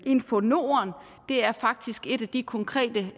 infonorden er faktisk et af de konkrete